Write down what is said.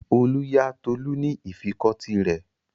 Olú yá Tolú ní ìfikọ́tí rẹ̀.